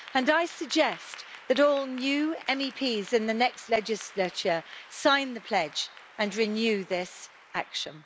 I suggest that all new MEPs in the next legislature sign the Pledge and renew this action.